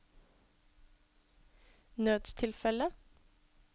nødstilfelle